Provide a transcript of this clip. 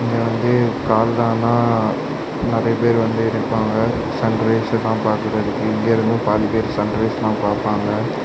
இது வந்து காலான நெறைய பேர் வந்து நிப்பாக சன் ரைஸ்ல பாக்கறதுக்கு இங்க இருந்தும் பாதிப்பேர் சன் ரைஸ்லாம் பார்ப்பாங்க.